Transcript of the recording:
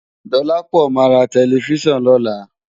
Dolapo má rá tèlèfisán lòlá